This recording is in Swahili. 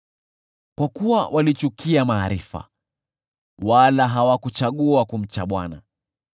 Kwa kuwa walichukia maarifa, wala hawakuchagua kumcha Bwana ,